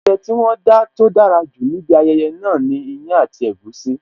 Oúnjẹ tí wón dá tó dára jù níbi ayẹyẹ náà ni iyán àti egusi